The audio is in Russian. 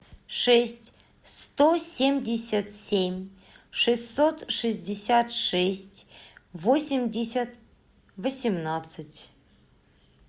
шесть сто семьдесят семь шестьсот шестьдесят шесть восемьдесят восемнадцать